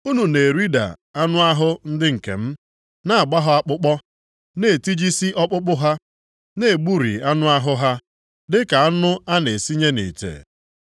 Unu na-erida anụ ahụ ndị nke m, na-agba ha akpụkpọ, na-etijisi ọkpụkpụ ha, na-egburi anụ ahụ ha, dịka anụ a na-esinye nʼite.”